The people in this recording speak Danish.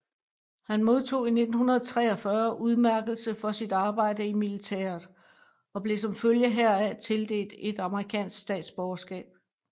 Han modtog i 1943 udmærkelse for sit arbejde i militæret og blev som følge heraf tildelt et amerikansk statsborgerskab